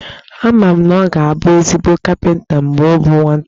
Ama m na ọ ga-abụ ezigbo kapịnta mgbe ọ bụ nwata